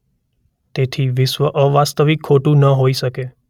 તેથી વિશ્વ અવાસ્તવિક ખોટું ન હોઈ શકે.